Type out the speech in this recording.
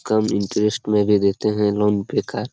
कम interest में भी देते हैं लोन पे कार |